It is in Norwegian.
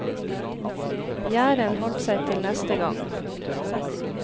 Gjæren holdt seg til neste gang. punktum